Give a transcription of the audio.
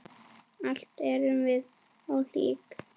Öll erum við ólík.